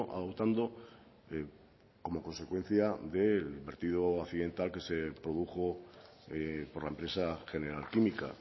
adoptando como consecuencia del vertido accidental que se produjo por la empresa general química